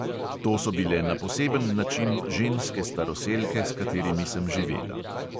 To so bile na poseben način ženske staroselke, s katerimi sem živela.